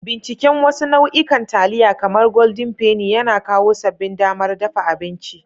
Binciken wasu nau'ikan taliya, kamar Golden Penny, yana kawo sabbin damar dafa abinci.